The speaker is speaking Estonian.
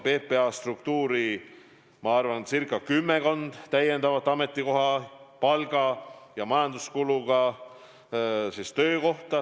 PPA struktuuri luuakse, ma arvan, kümmekond täiendavat palga- ja majanduskuluga töökohta.